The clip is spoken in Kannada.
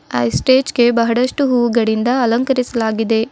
ಆ ಸ್ಟೇಜ್ ಗೆ ಬಹಳಷ್ಟು ಹೂಗಳಿಂದ ಅಲಂಕರಿಸಲಾಗಿದೆ.